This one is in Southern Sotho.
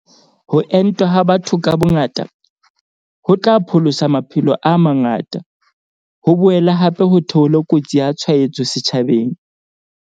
Ho entwa ha batho ka bongata, ho tla pholosa maphelo a mangata, ho boele hape ho theole kotsi ya tshwaetso setjhabeng.